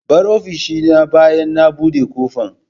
Bar ofishina bayan na buɗe kofan.